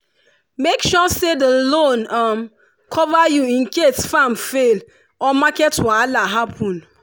make sure say the loan cover you in case farm fail or market wahala happen.